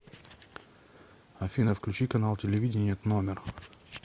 афина включи канал телевидения тномер